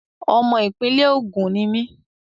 Ọmọ ìpínlẹ̀ Ògùn ni mí.